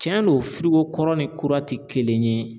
Tiɲɛ don kɔrɔ ni kura ti kelen ye